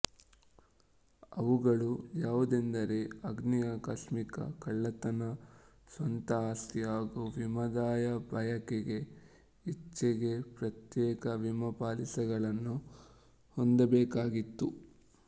ಅವುಗಳು ಯಾವುದೆಂದರೆ ಅಗ್ನಿ ಆಕಸ್ಮಿಕ ಕಳ್ಳತನ ಸ್ವಂತ ಆಸ್ತಿ ಹಾಗೂ ವಿಮಾದಾಯ ಬಯಕೆಗೆ ಇಚ್ಛೆಗೆ ಪ್ರತ್ಯೇಕ ವಿಮಾ ಪಾಲಿಸಿಗಳನ್ನು ಹೊಂದಬೇಕಾಗಿತ್ತು